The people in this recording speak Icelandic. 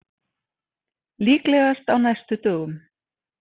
Líklegast á næstu dögum